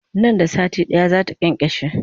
Nan da sati ɗaya zata kyankyashe